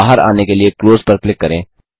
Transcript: बाहर आने के लिए क्लोज पर क्लिक करें